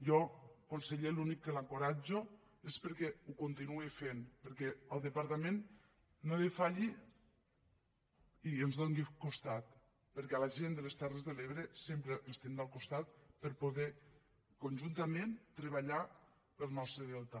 jo conseller a l’únic que l’encoratjo és que ho continuï fent perquè el departament no defalleixi i ens doni costat perquè la gent de les terres de l’ebre sempre estiguem al costat per a poder conjuntament treballar pel nostre delta